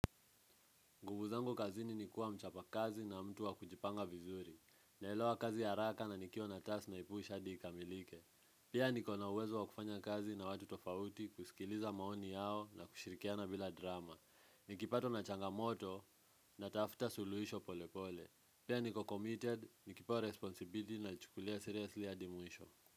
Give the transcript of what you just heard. Nguvu zangu kazini ni kuwa mchapa kazi na mtu wa kujipanga vizuri. Naelewa kazi haraka na nikiwa na task naipush hadi ikamilike. Pia niko na uwezo wa kufanya kazi na watu tofauti, kusikiliza maoni yao na kushirikiana bila drama. Nikipatwa na changamoto, natafuta suluhisho polepole pia niko committed, nikipewa responsibility nalichukulia seriously hadi mwisho.